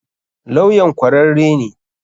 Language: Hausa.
Lawyan kwararre ne?